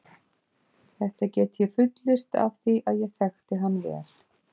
Þetta get ég fullyrt af því að ég þekkti hann vel.